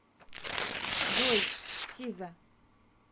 джой сиза